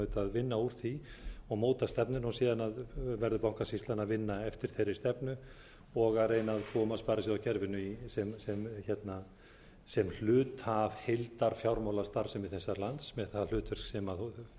vinna úr því og móta stefnuna síðan verður bankasýslan að vinna eftir þeirri stefnu og að eyna að koma sparisjóðakerfinu sem hluta af heildarfjármálastarfsemi þessa lands með það hlutverk sem sparisjóðirnir höfðu